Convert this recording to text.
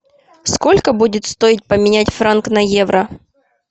сколько будет стоить поменять франк на евро